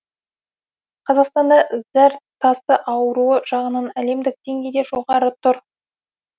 қазақстанда зәр тасы ауруы жағынан әлемдік деңгейде жоғары тұр